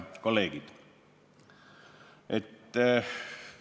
Head kolleegid!